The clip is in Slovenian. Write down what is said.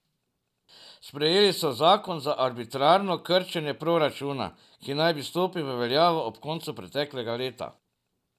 Sprejeli so zakon za arbitrarno krčenje proračuna, ki naj bi stopil v veljavo ob koncu preteklega leta.